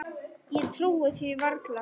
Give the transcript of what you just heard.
Ég trúði því varla.